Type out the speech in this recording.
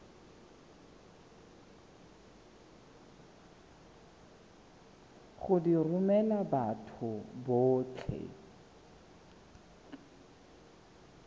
go di romela batho botlhe